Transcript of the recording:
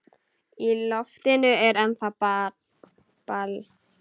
Í loftinu er ennþá ball.